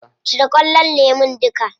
Cire ƙullon lemun duka.